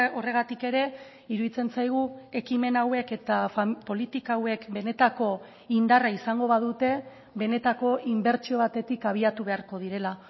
horregatik ere iruditzen zaigu ekimen hauek eta politika hauek benetako indarra izango badute benetako inbertsio batetik abiatu beharko direla